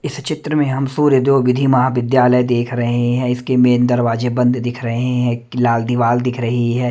इस चित्र में हम सूर्य देव विधि महाविद्यालय देख रहे हैं इसके मेन दरवाजे बंद दिख रहे हैं इसकी लाल दीवाल दिख रही है।